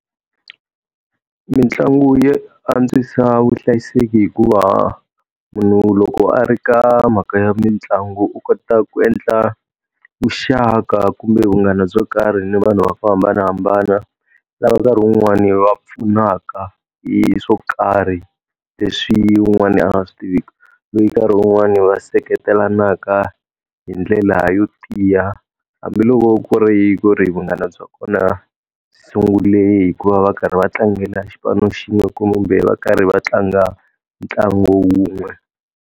Mitlangu ya antswisa vuhlayiseki hikuva munhu loko a ri ka mhaka ya mitlangu u kota ku endla vuxaka kumbe munghana byo karhi ni vanhu vo hambanahambana. Lava nkarhi wun'wani va pfunaka hi swo karhi leswi wun'wani a swi tiviki, loyi nkarhi wun'wani va seketelanaka hi ndlela yo tiya hambiloko ku ri ku ri vunghana bya kona byi sungule hi ku va va karhi va tlangela xipano xin'we kumbe va karhi va tlanga ntlangu wun'we.